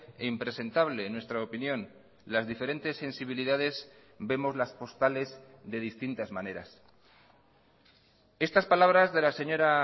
e impresentable en nuestra opinión las diferentes sensibilidades vemos las postales de distintas maneras estas palabras de la señora